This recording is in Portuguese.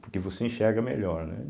Porque você enxerga melhor, né?